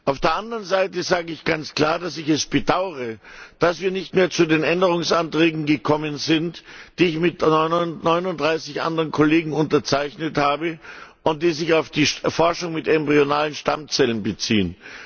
Auf der anderen Seite sage ich ganz klar, dass ich es bedauere, dass wir nicht mehr zu den Änderungsanträgen gekommen sind, die ich mit 39 anderen Kollegen unterzeichnet habe und die sich auf die Forschung mit embryonalen Stammzellen beziehen.